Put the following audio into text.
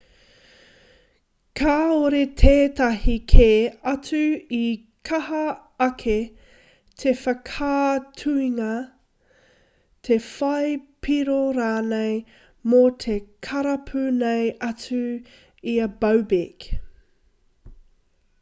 kāore tētahi kē atu i kaha ake te whakaaatungia te whai piro rānei mō te karapu nei atu i a bobek